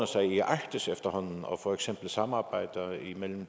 sig i arktis efterhånden for eksempel samarbejde imellem